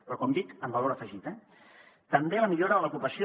però com dic amb valor afegit eh també la millora de l’ocupació